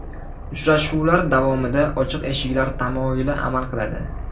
Uchrashuvlar davomida ochiq eshiklar tamoyili amal qiladi.